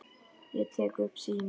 Ég tek upp símann.